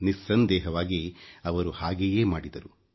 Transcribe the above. ನಿಸ್ಸಂದೇಹವಾಗಿ ಅವರು ಹಾಗೆಯೇ ಮಾಡಿದರು